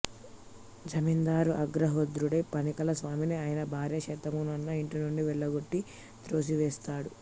జమీందారు ఆగ్రహోదగ్రుడై పానకాల స్వామిని ఆయన భార్య శాంతమ్మను ఇంటినుండి వెళ్ళగొట్టి త్రోసివేస్తాడు